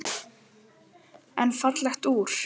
En fallegt úr.